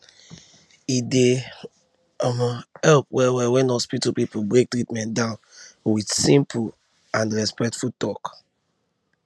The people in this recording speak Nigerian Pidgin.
e dey um help wellwell when hospital people break treatment down with simple and and respectful talk